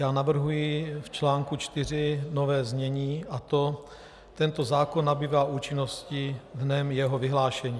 Já navrhuji v článku 4 nové znění, a to: Tento zákon nabývá účinnosti dnem jeho vyhlášení.